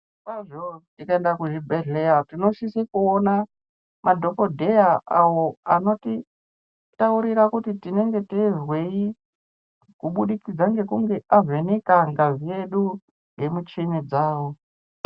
Tikaenda kuzvibhedhleya tinosise kuona madhokodheya awo anotitaurira kuti tinenge teizwei kubudikidza ngekunge avheneka ngazi yedu ngemuchini dzawo.